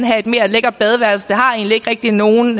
have et mere lækkert badeværelse egentlig ikke rigtig har nogen